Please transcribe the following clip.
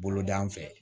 Boloda fɛ